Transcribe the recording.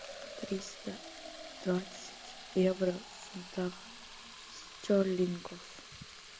триста двадцать евро в фунтах стерлингов